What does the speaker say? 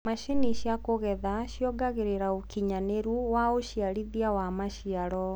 macinĩ cia kugetha ciongagirira ũũkĩnyanĩru wa uciarithanĩa wa maciaro